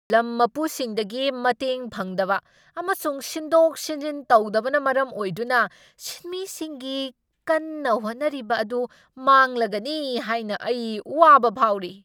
ꯂꯝ ꯃꯄꯨꯁꯤꯡꯗꯒꯤ ꯃꯇꯦꯡ ꯐꯪꯗꯕ ꯑꯃꯁꯨꯡ ꯁꯤꯟꯗꯣꯛ ꯁꯤꯟꯖꯤꯟ ꯇꯧꯗꯕꯅ ꯃꯔꯝ ꯑꯣꯏꯗꯨꯅ ꯁꯤꯟꯃꯤꯁꯤꯡꯒꯤ ꯀꯟꯅ ꯍꯣꯠꯅꯔꯤꯕ ꯑꯗꯨ ꯃꯥꯡꯂꯒꯅꯤ ꯍꯥꯏꯅ ꯑꯩ ꯋꯥꯕ ꯐꯥꯎꯔꯤ꯫